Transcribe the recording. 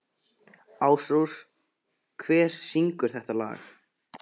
Ásrós, hver syngur þetta lag?